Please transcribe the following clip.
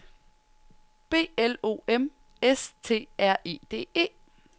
B L O M S T R E D E